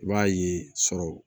I b'a ye sɔrɔ